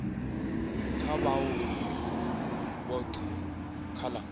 kha vhaaluwa vhothe kha la